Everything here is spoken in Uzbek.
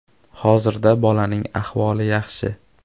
Hozirda bolaning ahvoli yaxshi.